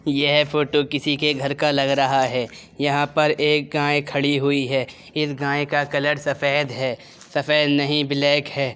यह फ़ोटो किसी के घर का लग रहा है | यहाँ पर एक गाय खड़ी हुई है | इस गाय का कलर सफ़ेद है सफ़ेद नहीं ब्लैक है।